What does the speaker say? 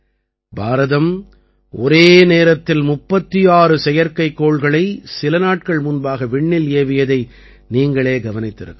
பாரதம் ஒரே நேரத்தில் 36 செயற்கைக்கோள்களை சில நாட்கள் முன்பாக விண்ணில் ஏவியதை நீங்களே கவனித்திருக்கலாம்